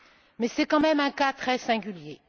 Mais, c'est quand même un cas très singulier.